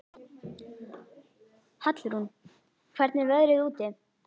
Hallrún, hvernig er veðrið úti?